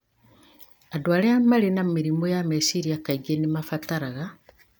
Andũ arĩa marĩ na mĩrimũ ya meciria kaingĩ nĩ mabataraga